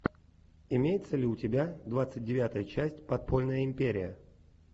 имеется ли у тебя двадцать девятая часть подпольная империя